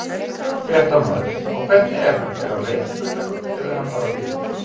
Fréttamaður: Og hvernig er hann, er hann veiklulegur eða er hann bara við?